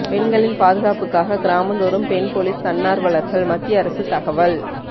பெண்களின் பாதுகாப்புக்காக கிராமந்தோறும் பெண் போலீஸ் தன்னார்வலர்கள் மத்திய அரசு தகவல்